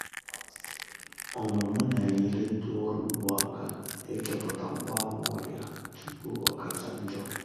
ọmụmụ na-enyere ndị ọrụ ugbo aka ịchọpụta mgbaàmà ọrịa tupu o kacha njo